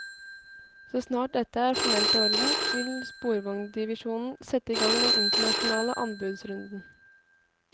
Så snart dette er formelt i orden vil sporvognsdivisjonen sette i gang den internasjonale anbudsrunden.